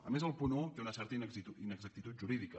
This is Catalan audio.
a més el punt un té una certa inexactitud jurídica